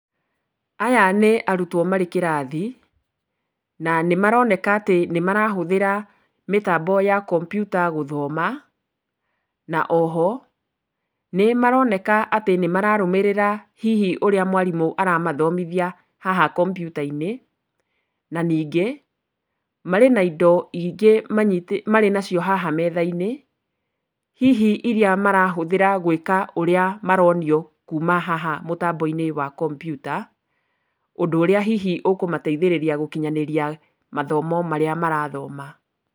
Aya nĩ arutwo marĩ kĩrathi, na nĩmaroneka atĩ nĩmarahũthĩra mĩtambo ya kompiuta gũthoma. Na o ho nĩmaroneka atĩ nĩmararũmĩrĩra hihi ũrĩa mwarimũ aramathomithia haha kompiuta-inĩ. Na ningĩ marĩ na indo ingĩ marĩ nacio haha metha-inĩ. Hihi iria marahũthĩra gwĩka ũrĩa maronio kuma haha mũtambo-inĩ wa kompiuta, ũndũ ũrĩa hihi ũkũmateithia gũkinyanĩria mathomo marĩa marathoma.